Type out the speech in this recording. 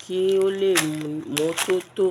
kí ó lè mọ́ tó tó.